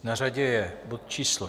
Na řadě je bod číslo